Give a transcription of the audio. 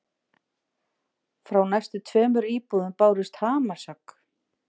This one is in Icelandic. Frá næstu tveimur íbúðum bárust hamarshögg.